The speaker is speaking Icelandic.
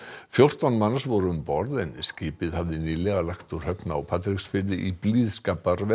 fjórtán manns voru um borð en skipið hafði nýlega lagt úr höfn á Patreksfirði í blíðskaparveðri